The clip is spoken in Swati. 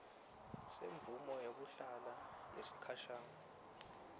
semvumo yekuhlala yesikhashana